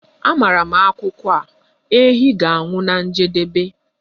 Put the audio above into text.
Amaara m akụkọ a, ehi ga-anwụ na njedebe